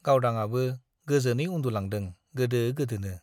गावदांआबो गोजोनै उन्दुलांदों गोदो गोदोनो।